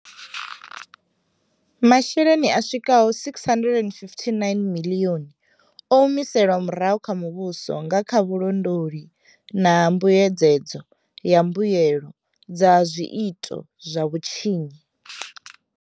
Masheleni a swikaho R659 miḽioni o humiselwa murahu kha muvhuso nga kha vhulondoli na mbuyedzedzo ya mbuelo dza zwiito zwa vhutshinyi.